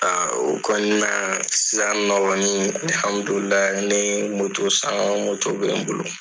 o kɔni na ne ye san bɛ n bolo.